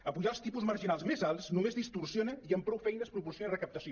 apujar els tipus marginals més alts només distorsiona i amb prou feines proporciona recaptació